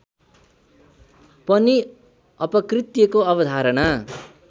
पनि अपकृत्यको अवधारणा